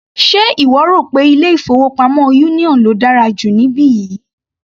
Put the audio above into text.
Ṣe ìwọ rò pé ilé-ìfowópamọ́ union ló dára jù níbí yìí?